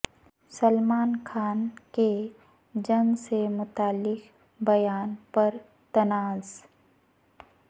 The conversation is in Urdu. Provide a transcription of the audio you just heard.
سلمان خان کے جنگ سے متعلق بیان پر تنازع